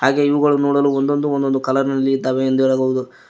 ಹಾಗೆ ಇವುಗಳು ನೋಡಲು ಒಂದೊಂದು ಒಂದೊಂದು ಕಲರ್ ನಲ್ಲಿ ಇದ್ದಾವೆ ಎಂದು ಹೇಳಬಹುದು.